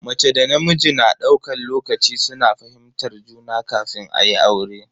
Mace da namiji na daukan lokaci suna fahimtar juna kafin ayi aure.